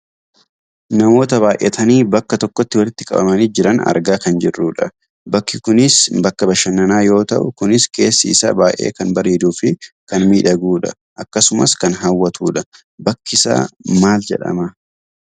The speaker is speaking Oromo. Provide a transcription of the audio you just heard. Namoota baayyatanii bakka tokkotti walitti qabamanii jiran argaa kan jirrudha. Bakki kunis bakka bashannanaa yoo ta'u kunis keessi isaa baayyee kan bareeduufi kan miidhagudha. Akkasumas kan hawwatudha. Bakkisaa maal jedhama?